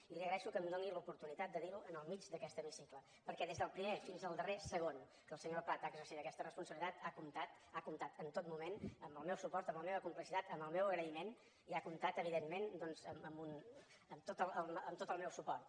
i li agreixo que em doni l’oportunitat de dir ho en el mig d’aquest hemicicle perquè des del primer fins al darrer segon que el senyor prat ha exercit aquesta responsabilitat ha comptat ha comptat en tot moment amb el meu suport amb la meva complicitat amb el meu agraïment i ha comptat evidentment doncs amb tot el meu suport